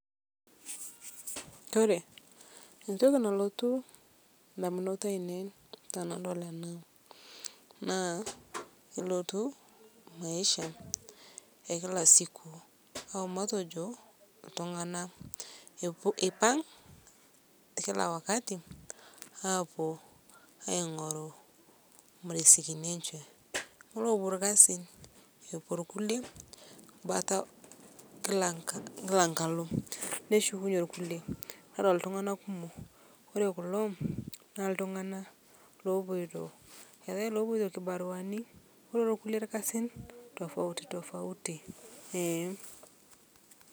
Kore ntoki nalotu ndamunot ainen tanadol ana ilotu maisha e kila siku au matejo ltung'ana eipang' kila wakati aapuo aing'oru rizikini enshe elopuo lkazin epuo lkulie bata kila nkalo neshukunye lkulie nedol ltung'ana kumo kore kulo naa ltung'ana lopoito, eatai lopoito kibaruani nopuo lkulie lkazin tofauti tofauti eeh.